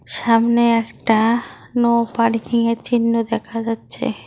সামনে একটা নো পার্কিংয়ের চিহ্ন দেখা যাচ্ছে।